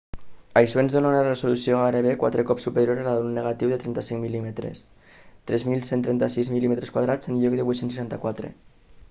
això ens dóna una resolució gairebé quatre cops superior a la d'un negatiu de 35 mm 3.136 mm² en lloc de 864